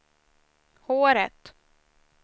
håret